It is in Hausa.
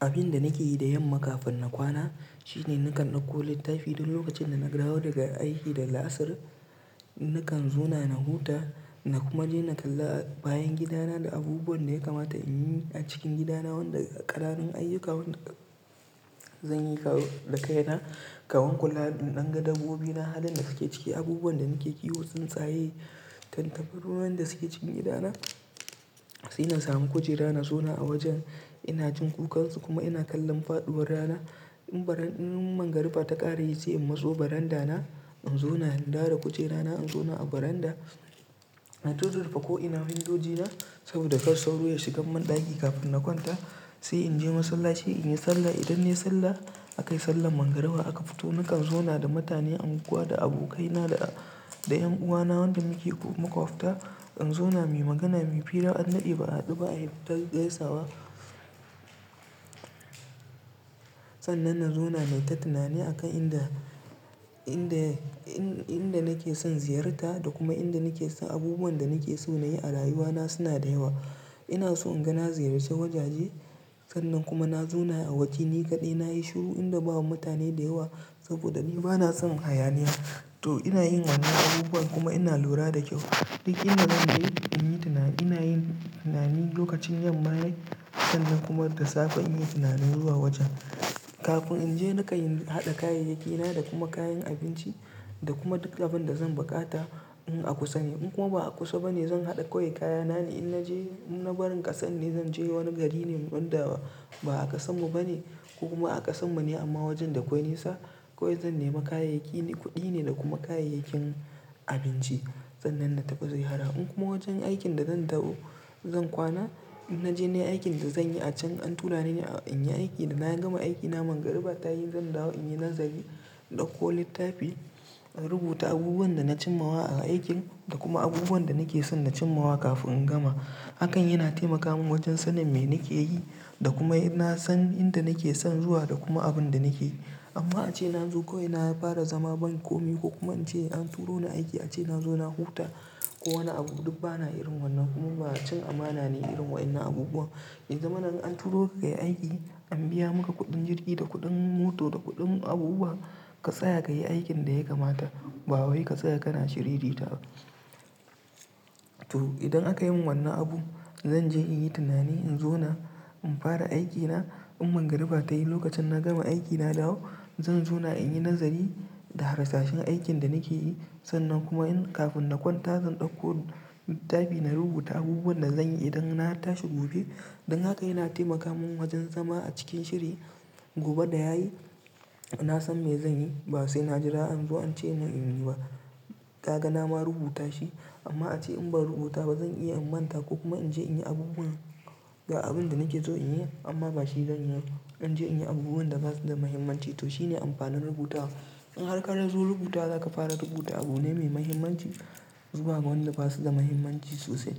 Abin da nake yi da yamma kafin na kwana shine nakan ɗauko littafi duk lokacin da na dawo daga aiki da la'asar. Nakan zauna na huta na kuma je na kalla bayan gidana da abubuwan da ya kamata in yi a cikin gidana wanda ƙananun ayyuka wanda zan yi da kaina. Kaman kula in ɗan ga dabbobina halin da suke ciki abubuwan da nake kiwo tsintsaye. Tantabaru wanda suke cikin gidana sai na samu kujera na zauna a wajen ina jin kukansu kuma ina kallon faɗuwar rana. In barin in mangaruba ta ƙara yi sai in matso barandana in zauna in dawo da kujerana in zauna a baranda. Na tu rurrufe ko ina windojina saboda kar sauro ya shigan mun ɗaki kafin na kwanta. Sai in je masallaci in yi sallah idan nai sallah akai sallar mangaruba aka fito nakan zauna da mutane anguwa da abokaina da 'yan uwana wanda muke makuwafta. In zauna mu magana mu fira an dade ba'a hadu ayi ta gaisawa. Sannan na zauna nai ta tunani akan inda, inda, inda nake son ziyarta da kuma inda nake son abubuwan da nake so na yi a rayuwana suna da yawa. Ina so in ga na ziyarci wajaje sannan kuma na zauna a waje ni kaɗai nayi shiru inda babu mutane da yawa saboda ni bana son hayaniya. To ina yin wannan abubuwan kuma ina lura da kyau. Duk inda zan je in yi tunani ina yin tunani lokacin yamma yai sannan kuma da safe in yi tunani zuwa wajen, kafin. In je na kan haɗa kayayyakina da kuma kayan abinci da kuma duk abin da zan buƙata. In a kusa ne, in kuma ba'a kusa bane zan hada kawai kayana ne, in naje, in na barin kasar ne, zan je wani gari ne wanda ba'a kasar mu bane ko kuma a kasar mu ne amma wajen da kwai nisa kawai zan nemi kayayyaki kudi ne da kuma kayayyakin abinci. Sannan na tafi zai hara in kuma wajen aikin da zan dawo zan kwana in naje nayi aikin da zanyi a can an tura ni in yi aiki da na gama aiki na mangaruba tayi zan dawo in yi nazari, in ɗauko littafi, rubuta abubuwan da na cim mawa a aikin da kuma abubuwan da nake son na cim mawa kafin in gama. Hakan yana taimaka mun wajen sanin me nake yi da kuma in na san inda nake son zuwa da kuma abin da nake yi. Amma ace in zo kawai na fara zama ban komi ko kuma ance an turo ni aiki ace nazo na huta ko wani abu duk bana irin wannan kuma ba cin amana ne irin waynnan abubuwan. Ya zamana an turo ka kayi aiki an biya maka kuɗin jirgi da kuɗin mota da kuɗin abubuwa ka tsaya kayi aikin da ya kamata ba wai ka tsaya kana shiririta ba. To idan aka yi min wannan abun zan je in yi tunani in zauna in fara aikina in mangaruba ta yi lokacin na gama aiki na dawo zan zauna in yi nazari da harsashen aikin da nake yi sannan kuma in kafin na kwanta zan ɗauko littafi na rubuta abubuwan da zanyi idan na tashi gobe. Dan haka yana taimaka mun wajen zama a cikin shiri gobe da yayi na san me zan yi ba sai na jira an zo ance mun in yi ba. Kaga na ma rubuta shi amma ace in ban rubuta ba zan iya in manta ko kuma in je in yi abubuwa ga abin da nake so in yi amma bashi zanyi ba. In je in yi abubuwan da basu da muhimmanci to shine amfanin rubutawa. In har kazo rubutawa zaka fara rubuta abu ne me muhimmanci. Zuwa ma wanda basu da muhimmanci sosai